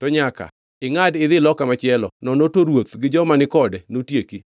to nyaka ingʼadi idhi loka machielo nono to ruoth gi joma ni kode notieki.’ ”